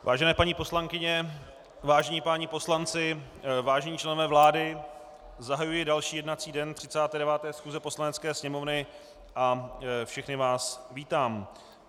Vážené paní poslankyně, vážení páni poslanci, vážení členové vlády, zahajuji další jednací den 39. schůze Poslanecké sněmovny a všechny vás vítám.